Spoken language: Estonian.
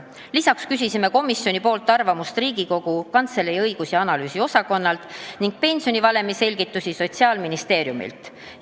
Lisaks küsis komisjon arvamust Riigikogu Kantselei õigus- ja analüüsiosakonnalt ning pensionivalemi selgitusi Sotsiaalministeeriumilt.